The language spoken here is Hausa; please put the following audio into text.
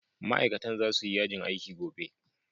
Ma'aikatan za su yi yajin aiki gobe.